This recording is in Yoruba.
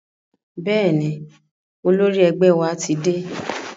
Bẹ́ẹ̀ni, olórí ẹgbẹ́ wa ti dé.